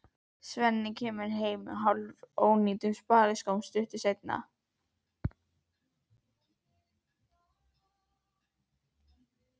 Svenni kemur heim á hálfónýtum spariskóm stuttu seinna.